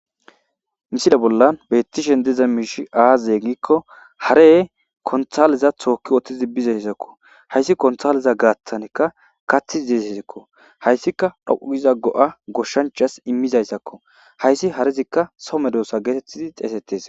Misile bolla bettishenni diza mishshi azee gikko hareyi kontaleza toki utti bizayissakko.ha issi kontaleza gatanika gatidi diziko ha izika dhoqqu giza go'a nusi immida izako ha izi harezika so medosa getetidi xeesetes.